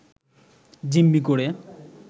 জিম্মি করে